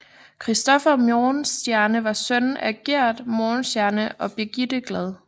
Christopher Morgenstierne var søn af Giert Morgenstierne og Birgitte Glad